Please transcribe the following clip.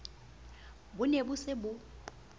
bo ne bo se bo